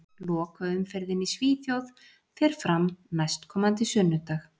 Lokaumferðin í Svíþjóð fer fram næstkomandi sunnudag.